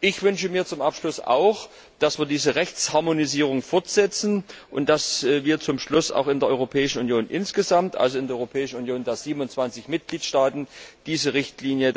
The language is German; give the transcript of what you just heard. Ich wünsche mir zum Abschluss auch, dass wir diese Rechtsharmonisierung fortsetzen und dass wir zum Schluss auch in der Europäischen Union insgesamt also in der Europäischen Union der 27 Mitgliedstaaten diese Richtlinie